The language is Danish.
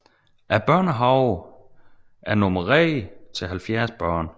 Børnehaven er normeret til 70 børn